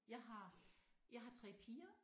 Jeg har jeg har 3 piger